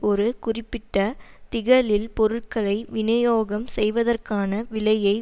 ஒரு குறிப்பிட்ட திகலில் பொருட்களை விநியோகம் செய்வதற்கான விலையை